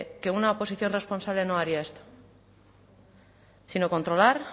que una oposición responsable no haría esto sino controlar